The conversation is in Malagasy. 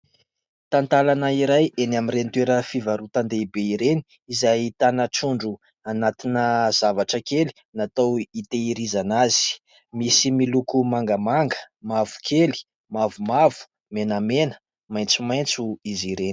Talatalana iray eny amin'ireny toerana fivarotan-dehibe ireny izay ahitana trondro anatina zavatra kely natao hitahirizana azy. Misy miloko mangamanga, mavokely, mavomavo, menamena, maitsomaitso izy ireny.